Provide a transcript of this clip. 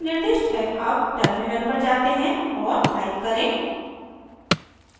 अब टर्मिनल पर जाते हैं और टाइप करें